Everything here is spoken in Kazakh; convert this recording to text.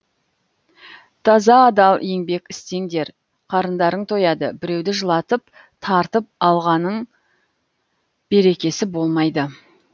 таза адал еңбек істеңдер қарындарың тояды біреуді жылатып тартып алғаның берекесі болмайды